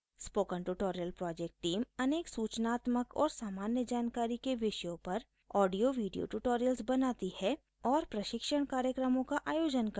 spoken tutorial project team अनेक सूचनात्मक और सामान्य जानकारी के विषयों पर ऑडियोवीडियो ट्यूटोरियल्स बनाती है और प्रशिक्षण कार्यक्रमों का आयोजन करती है